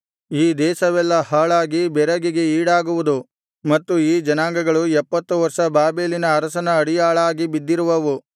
ಈ ದೇಶವೆಲ್ಲಾ ಹಾಳಾಗಿ ಬೆರಗಿಗೆ ಈಡಾಗುವುದು ಮತ್ತು ಈ ಜನಾಂಗಗಳು ಎಪ್ಪತ್ತು ವರ್ಷ ಬಾಬೆಲಿನ ಅರಸನ ಅಡಿಯಾಳಾಗಿ ಬಿದ್ದಿರುವವು